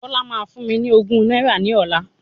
Bọ́lá máa fún mi ní ogún náírà ní ọlá.